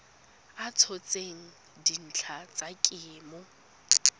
a tshotseng dintlha tsa kemo